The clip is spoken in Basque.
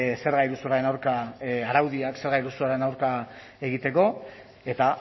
zerga iruzurraren aurka araudiak zerga iruzurraren aurka egiteko eta